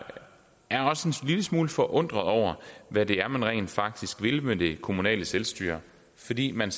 lille smule forundret over hvad det er man rent faktisk vil med det kommunale selvstyre fordi man